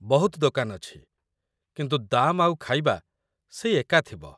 ବହୁତ ଦୋକାନ ଅଛି, କିନ୍ତୁ ଦାମ୍ ଆଉ ଖାଇବା ସେଇ ଏକା ଥିବ ।